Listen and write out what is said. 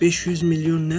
500 milyon nə?